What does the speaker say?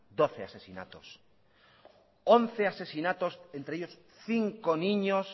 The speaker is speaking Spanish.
once asesinatos entre ellos cinco niños